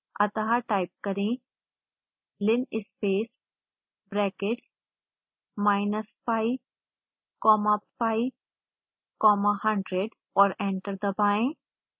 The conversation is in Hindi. अतः टाइप करें linspace brackets minus pi comma pi comma 100 और एंटर दबाएं